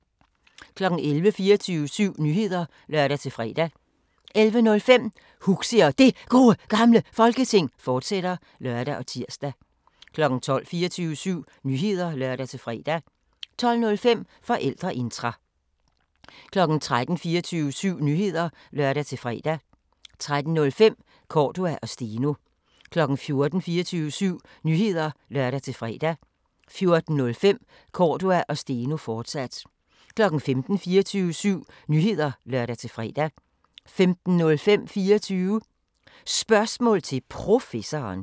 11:00: 24syv Nyheder (lør-fre) 11:05: Huxi og Det Gode Gamle Folketing, fortsat (lør og tir) 12:00: 24syv Nyheder (lør-fre) 12:05: Forældreintra 13:00: 24syv Nyheder (lør-fre) 13:05: Cordua & Steno 14:00: 24syv Nyheder (lør-fre) 14:05: Cordua & Steno, fortsat 15:00: 24syv Nyheder (lør-fre) 15:05: 24 Spørgsmål til Professoren